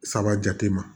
Saba jate ma